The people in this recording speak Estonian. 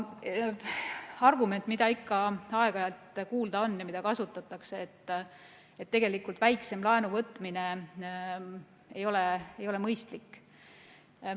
Argument, mida ikka aeg-ajalt kuulda on ja mida kasutatakse, on see, et väiksema laenu võtmine ei ole tegelikult mõistlik.